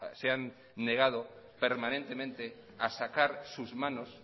se han negado permanentemente a sacar sus manos